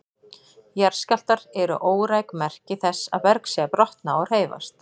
Jarðskjálftar eru óræk merki þess að berg sé að brotna og hreyfast.